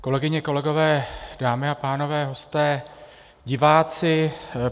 Kolegyně, kolegové, dámy a pánové, hosté, diváci.